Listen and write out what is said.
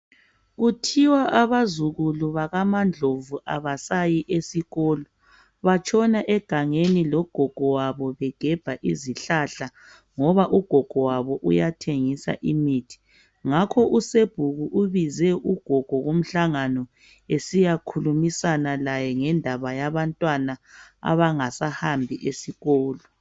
Kuthiwa abazukulu bakamaNdlovu abasayi esikolo batshona egangeni logogo wabo begebha izihlahla, ngoba ugogo wabo uyathengisa imithi. Ngakho usebhuku ubize ugogo kumhlangano besiyakhumisana laye ngendaba yabantwana abangasahambi esikolo